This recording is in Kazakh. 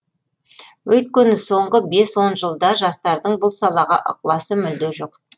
өйткені соңғы бес он жылда жастардың бұл салаға ықыласы мүлде жоқ